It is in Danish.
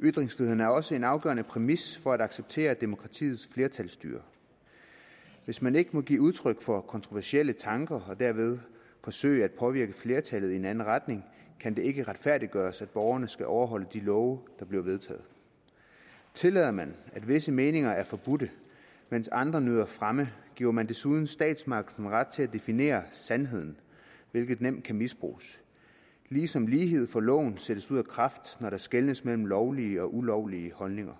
ytringsfriheden er også en afgørende præmis for at acceptere demokratiets flertalsstyre hvis man ikke må give udtryk for kontroversielle tanker og dermed forsøge at påvirke flertallet i en anden retning kan det ikke retfærdiggøres at borgerne skal overholde de love der bliver vedtaget tillader man at visse meninger er forbudte mens andre nyder fremme giver man desuden statsmagten ret til at definere sandheden hvilket nemt kan misbruges ligesom lighed for loven sættes ud af kraft når der skelnes mellem lovlige og ulovlige holdninger